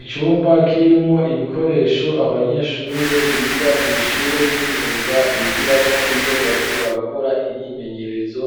Icumba kirimwo ibikoresho abanyeshure biga kw'ishure ry'imyuga bigirako iyo bariko barakora imyimenyerezo